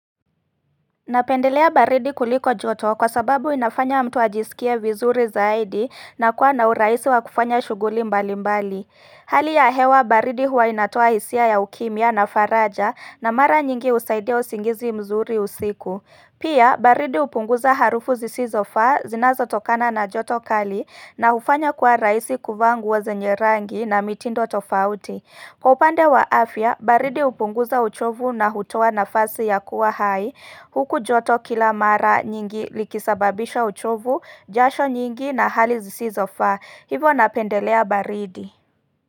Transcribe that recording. Napendelea baridi kuliko joto kwa sababu inafanya mtu ajisikie vizuri zaidi na kuwa na urahisi wa kufanya shughuli mbali mbali. Hali ya hewa baridi huwa inatoa hisia ya ukimya na faraja na mara nyingi husaidia usingizi mzuri usiku Pia baridi hupunguza harufu zisizo faa zinazotokana na joto kali na hufanya kuwa rahisi kuvaa nguo zenye rangi na mitindo tofauti. Kwa upande wa afya baridi hupunguza uchovu na hutoa nafasi ya kuwa hai huku joto kila mara nyingi likisababisha uchovu, jasho nyingi na hali zisizofaa, hivyo napendelea baridi.